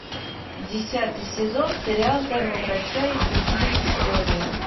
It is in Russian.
десятый сезон сериал тайны врача и другие истории